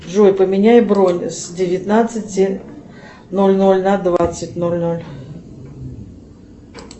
джой поменяй бронь с девятнадцати ноль ноль на двадцать ноль ноль